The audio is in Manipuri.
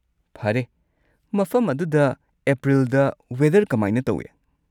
ꯐꯔꯦ꯫ ꯃꯐꯝ ꯑꯗꯨꯗ ꯑꯦꯄ꯭ꯔꯤꯜꯗ ꯋꯦꯗꯔ ꯀꯃꯥꯏꯅ ꯇꯧꯏ?